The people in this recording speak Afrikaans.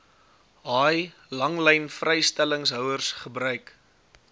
haai langlynvrystellingshouers gebruik